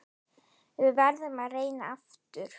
Við verðum að reyna aftur.